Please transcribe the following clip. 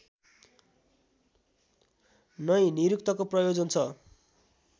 नैं निरुक्तको प्रयोजन छ